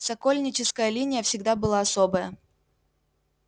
сокольническая линия всегда была особая